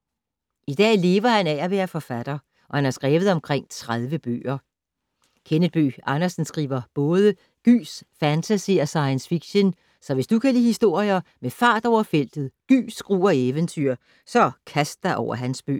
I dag lever han af at være forfatter, og han har skrevet omkring 30 bøger. Kenneth Bøgh Andersen skriver både gys, fantasy og science fiction, så hvis du kan lide historier med fart over feltet, gys, gru og eventyr, så kast dig over hans bøger.